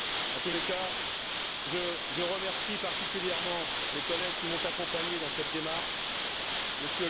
En tout état de cause, je remercie particulièrement les collègues qui m'ont accompagné dans cette démarche, M.